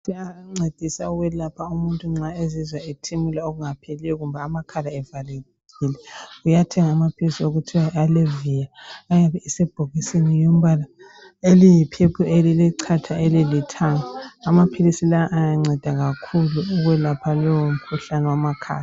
kuyancedisa ukwelapha nxa umu´ntu ezizwa ethimula okungapheliyo kumba amakhala akhe evalekile amaphilisi okuthiwa allevia ayabe esebhokisini elombala oyi purple elilechatha elilithanga amaphilisi lawa ayanceda kakhulu ukwelapha lowo mkhuhlane wamakhala